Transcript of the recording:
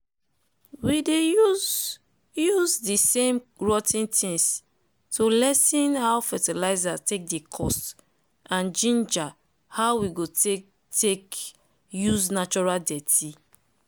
we dey use use de same rot ten things to lessen how fertizer take dey cost and ginger how we go dey take use natural dirty.